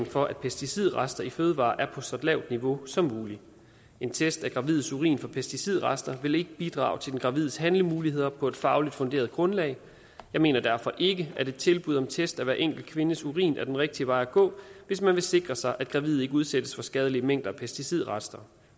for at pesticidrester i fødevarer er på så lavt et niveau som muligt en test af gravides urin for pesticidrester vil ikke bidrage til den gravides handlemuligheder på et fagligt funderet grundlag jeg mener derfor ikke at et tilbud om test af hver enkelt kvindes urin er den rigtige vej at gå hvis man vil sikre sig at gravide ikke udsættes for skadelige mængder af pesticidrester